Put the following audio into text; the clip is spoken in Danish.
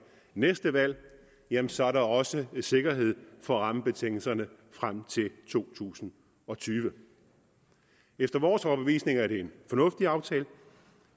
næste valg jamen så er der også sikkerhed for rammebetingelserne frem til to tusind og tyve efter vores overbevisning er det en fornuftig aftale